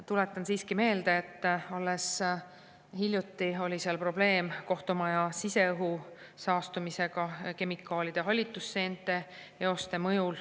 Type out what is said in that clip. Tuletan siiski meelde, et oli seal probleem kohtumaja siseõhu saastumisega kemikaalide ja hallitusseente eoste mõjul.